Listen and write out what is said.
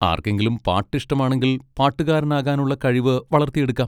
ആർക്കെങ്കിലും പാട്ട് ഇഷ്ടമാണെങ്കിൽ പാട്ടുകാരനാകാനുള്ള കഴിവ് വളർത്തിയെടുക്കാം.